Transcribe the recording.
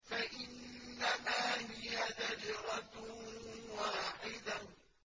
فَإِنَّمَا هِيَ زَجْرَةٌ وَاحِدَةٌ